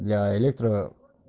для электро